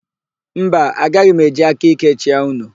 Mba, agaghị m eji aka íké chịa unu.